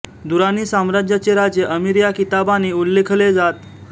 दुराणी साम्राज्याचे राजे अमीर या किताबाने उल्लेखले जात